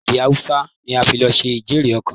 Èdè Haúsá la fi lọ ṣe ijere-okan.